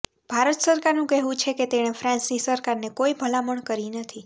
ભારત સરકારનું કહેવું છે કે તેણે ફ્રાન્સની સરકારને કોઈ ભલામણ કરી નથી